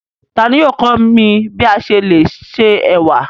Tani yóò kọ̀ mí bí à ṣé lè ṣé è̩wà?